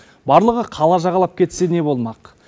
барлығы қала жағалап кетсе не болмақ